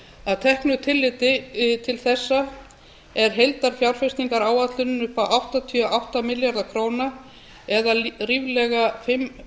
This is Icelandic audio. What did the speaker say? að teknu tilliti til þessa er heildarfjárfestingaráætlunin upp á áttatíu og átta milljarða króna það er ríflega fimm